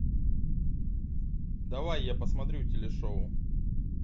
давай я посмотрю телешоу